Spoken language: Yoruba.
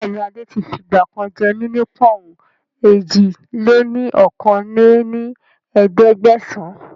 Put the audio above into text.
Bẹ́ẹ̀ni adé tí fi ìgbàkan jẹ́ mí ní pọ̀n-ùn èjì-lé-ní-okòó lé ní ẹ̀ẹ́dẹ́gbẹ́sán